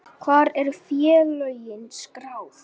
Hvar eru félögin skráð?